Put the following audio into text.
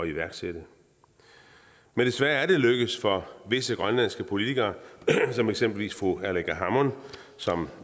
iværksætte men desværre er det lykkedes for visse grønlandske politikere som eksempelvis fru aleqa hammond som